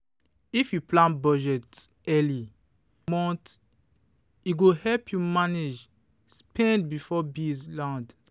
if you plan budget early for the month e go help you manage spend before bills land.